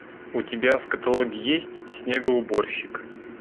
у тебя в каталоге есть снегоуборщик